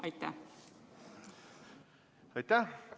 Aitäh!